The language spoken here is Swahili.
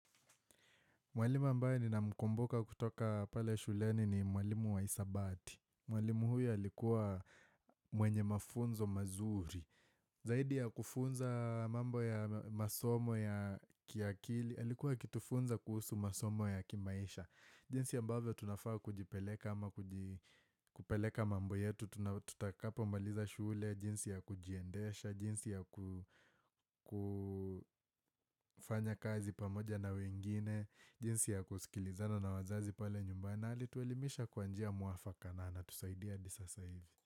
Mwalimu ambaye nina mkumbuka kutoka pale shuleni ni mwalimu wa hisabati. Mwalimu huyu alikuwa mwenye mafunzo mazuri. Zaidi ya kufunza mambo ya masomo ya kiakili. Alikuwa akitufunza kuhusu masomo ya kimaisha. Jinsi ya ambavyo tunafaa kujipeleka ama kupeleka mambo yetu. Tuna tutakapo maliza shule, jinsi ya kujiendesha, jinsi ya kufanya kazi pamoja na wengine, jinsi ya kusikilizana na wazazi pale nyumbani na hali tuelimisha kwanjia mwafaka na anatusaidia hadi sasa hivi.